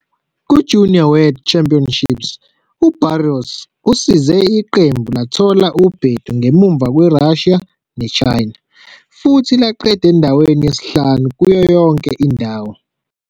KumaJunior World Championships uBarros usize iqembu lathola ubhedu ngemuva kweRussia neChina futhi laqeda endaweni yesihlanu kuyo yonke indawo.